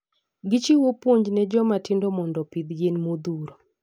Gi chiwo puonj ne joma tindo mondo opith yien madhuro